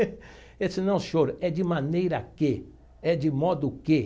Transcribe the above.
Ele disse, não, senhor, é de maneira que, é de modo que.